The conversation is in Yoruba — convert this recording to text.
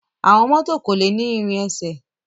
Àwọn mọto ko ni ìrin ẹsẹ.